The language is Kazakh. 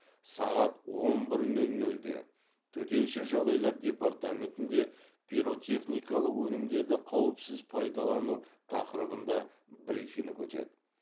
сағат он бір нөл нөлде төтенше жағдайлар департаментінде пиротехникалық өнімдерді қауіпсіз пайдалану тақырыбында брифинг өтеді